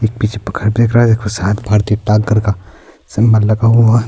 ایک پیچھے گھر دیکھ رہا ہے گھر کا لگا ہوا ہے۔